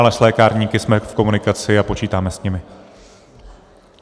Ale s lékárníky jsme v komunikaci a počítáme s nimi.